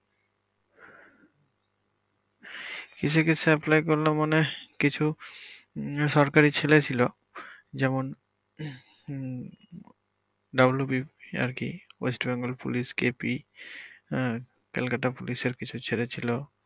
কিসে কিসে apply করলাম মানে কিছু উম সরকারির ছেলে ছিলো যেমন হম west bengal police KP আহ কলকাতা পুলিশের কিছু ছেলে ছিলো